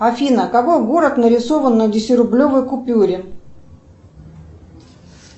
афина какой город нарисован на десятирублевой купюре